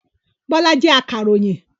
Bọ́lá jẹ́ akàròyìn.